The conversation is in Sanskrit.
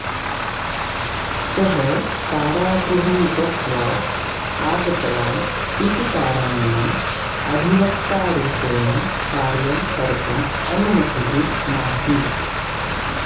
सः कारागृहं गत्वा आगतवान् इति कारणेन अधिवक्ता रूपेण कार्यं कर्तुम् अनुमतिः नासीत्